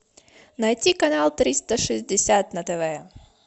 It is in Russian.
найти канал триста шестьдесят на тв